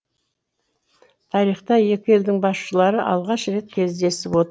тарихта екі елдің басшылары алғаш рет кездесіп отыр